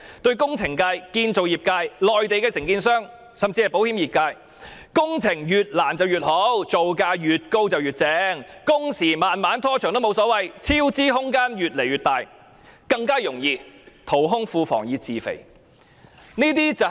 對工程業界、建造業界、內地承建商，甚至保險業界而言，工程越難越好，造價越高越好，工時拖得再長也沒有所謂；超支空間越來越大，便更容易淘空庫房以自肥。